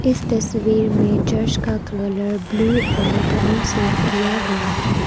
इस तस्वीर में चर्च का कलर ब्ल्यू और ब्राउन से किया गया है।